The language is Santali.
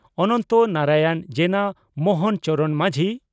ᱚᱱᱚᱱᱛᱚ ᱱᱟᱨᱟᱭᱚᱬ ᱡᱮᱱᱟ ᱢᱚᱦᱚᱱ ᱪᱚᱨᱚᱬ ᱢᱟᱹᱡᱷᱤ